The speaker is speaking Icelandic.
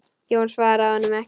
Jón svaraði honum ekki.